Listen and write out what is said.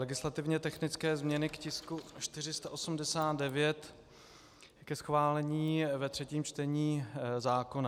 Legislativně technické změny k tisku 489, ke schválení ve třetím čtení zákona.